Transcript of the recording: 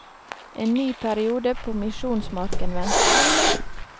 En ny periode på misjonsmarken ventet.